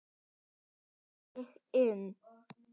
Þá fór ég inn.